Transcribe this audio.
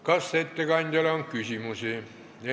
Kas ettekandjale on küsimusi?